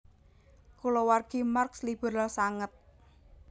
Kulawargi Marx liberal sanget